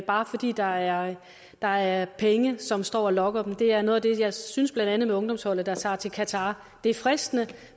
bare fordi der er der er penge som står og lokker dem det er noget af det jeg synes blandt andet med ungdomsholdet der tager til qatar det er fristende